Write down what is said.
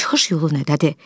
Çıxış yolu nədədir?